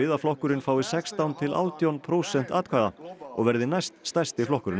að flokkurinn fái sextán til átján prósent atkvæða og verði næst stærsti flokkurinn á